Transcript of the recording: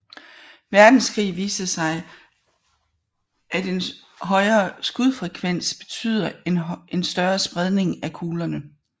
Verdenskrig viste at en højere skudfrekvens betyder en større spredning af kuglerne